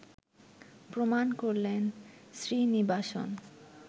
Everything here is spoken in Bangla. প্রমাণ করলেন শ্রীনিবাসন